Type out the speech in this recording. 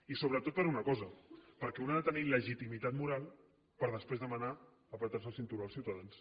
i sobretot per una cosa perquè un ha de tenir legitimitat moral per després demanar estrènyer se el cinturó als ciutadans